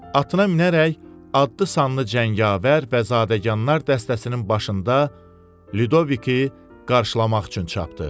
Atına minərək adlı sanlı cəngavər və zadəganlar dəstəsinin başında Lüdviki qarşılamaq üçün çapdı.